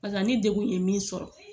Paseke ni degun ye min sɔrɔ